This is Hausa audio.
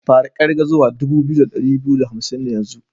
Fara kirga zuwa dubu biyu da dari biyu da hamsin yanzu!